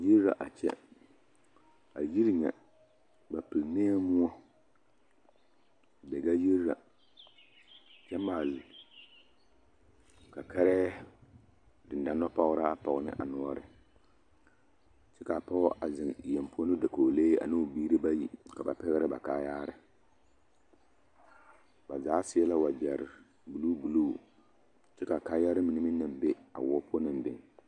Yiri la a kyɛ, a yiri nyɛ ba pelnɛɛ moɔ, Daga yiri la, kyɛ maale kɛkɛrɛɛ dendɔnɔpɔgeraa pɔge ne a noɔre kyɛ k'a pɔge zeŋ yeŋ poɔ ne o dakogilee ane o biiri bayi ka ba pɛgerɛ ba kaayaare ba zaa seɛ la wagyɛre buluu buluu kyɛ k'a kaayare mine naŋ be a woɔ poɔ naŋ biŋ.